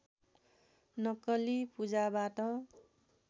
नक्कली पूजाबाट